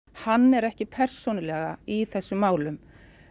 hann er ekki persónulega í þessum málum